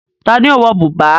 Ta ni ó ń wọ bùbá?